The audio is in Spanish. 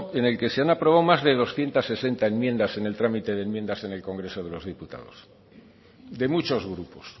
en el que se han aprobado más de doscientos sesenta enmiendas en el trámite de enmiendas en el congreso de los diputados de muchos grupos